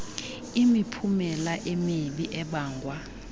imiphumela emibi ebangwa